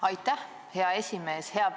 Aitäh, hea esimees!